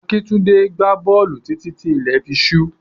Akíntúndé gbá bọ́ọ̀lù títí tí ilẹ̀ fi ṣú.